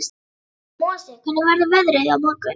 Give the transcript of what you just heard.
Mosi, hvernig verður veðrið á morgun?